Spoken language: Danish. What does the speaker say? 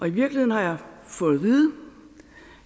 i virkeligheden har jeg fået at vide